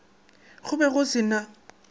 go be go se na